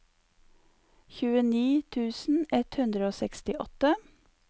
tjueni tusen ett hundre og sekstiåtte